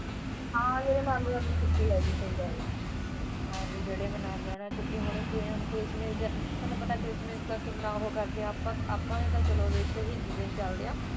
ਅਲਵਿਦਾ ਕਹਿਣ ਲੱਗਾ ਕਿ ਭਰਾਵੋ ਕਰਕੇ ਆਪਣਾ ਆਪਾ ਨਾ ਜਨਾਵਹਿ ਜਿਵੇ ਚਲਦਿਆ ਨਾਲਿ ਨ ਲੁਝੀਐ ਵਿਸ਼ੇਗਤ ਅਧਿਐਨ